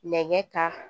Nɛgɛ kan